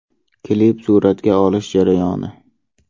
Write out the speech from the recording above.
Klip suratga olish jarayoni.